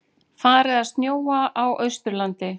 Farið að snjóa á Austurlandi